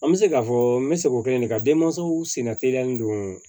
An bɛ se k'a fɔ n bɛ se k'o kelen de kɛ ka denmansaw senna teliya ni don